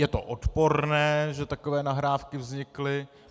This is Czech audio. "Je to odporné, že takové nahrávky vznikly.